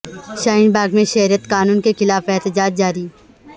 شاہین باغ میں شہریت قانون کے خلاف احتجاج جاری